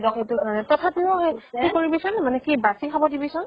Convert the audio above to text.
দ দ্ক এইতো। তথাপিও, সেই সেইকৰিবি চোন, মানে কি বাছি খাব দিবি চোন